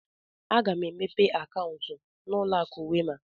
Aga mụ emepe akauntu na ụlọ akụ Wema.